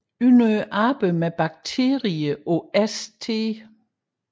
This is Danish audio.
Under arbejdet med bakterier på St